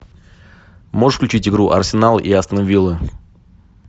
можешь включить игру арсенал и астон виллы